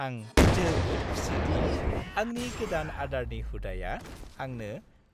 आं जोबोद खुसि दि आंनि गोदान आदारनि हुदाया आंनो